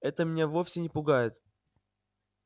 это меня вовсе не пугает